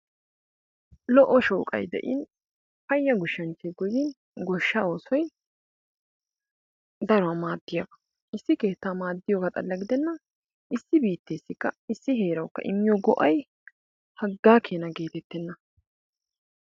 Lo"o shooqay de'iin payya goshshanchchay goyin goshshaa oosoy daruwa maadiyaba, issi keettaa maaddiyoga xala giddenna issi biittessikka issi heerawukka immiyo go'ay hagga keenna geetettenna!